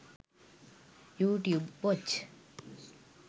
youtube watch